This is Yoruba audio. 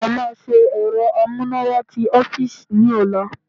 A máa ṣe ẹ̀rọ amúnáwá ti ọ́fíìsì ní ọ̀la